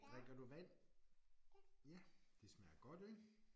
Drikker du vand? Ja det smager godt ik?